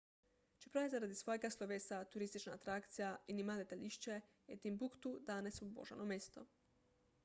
čeprav je zaradi svojega slovesa turistična atrakcija in ima letališče je timbuktu danes obubožano mesto